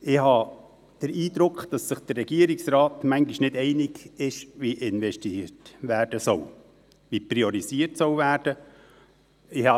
Ich habe den Eindruck, dass sich der Regierungsrat bisweilen nicht einig ist, wie investiert und priorisiert werden soll.